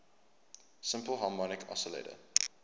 simple harmonic oscillator